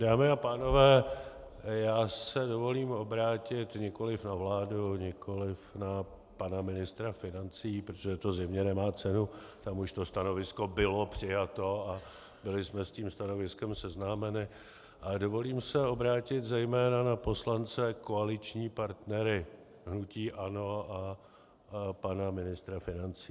Dámy a pánové, já se dovolím obrátit nikoliv na vládu, nikoliv na pana ministra financí, protože to zjevně nemá cenu, tam už to stanovisko bylo přijato a byli jsme s tím stanoviskem seznámeni, ale dovolím se obrátit zejména na poslance koaliční partnery hnutí ANO a pana ministra financí.